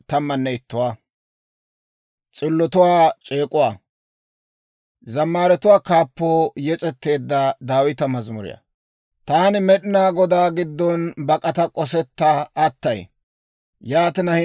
Taani Med'inaa Godaa giddon bak'ata k'osetta attay. Yaatina, hintte taana ayaw, «Kafuwaadan ne deriyaa bak'ata» yaagiitee?